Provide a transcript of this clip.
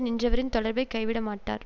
நின்றவரின் தொடர்பைக் கைவிட மாட்டார்